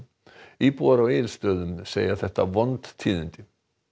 íbúar á Egilsstöðum segja þetta vond tíðindi